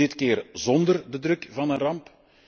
Dit keer zonder de druk van een ramp.